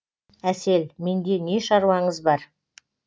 әсел менде не шаруаңыз бар